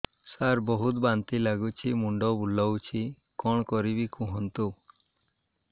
ସାର ବହୁତ ବାନ୍ତି ଲାଗୁଛି ମୁଣ୍ଡ ବୁଲୋଉଛି କଣ କରିବି କୁହନ୍ତୁ